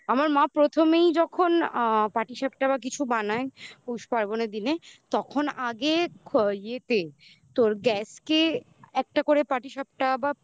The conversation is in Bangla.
আমার মা প্রথমেই যখন আ পাটিসাপটা বা কিছু বানায় পৌষ পার্বণ দিনে তখন আগেই তোর গ্যাসকে একটা করে পাটিসাপটা বা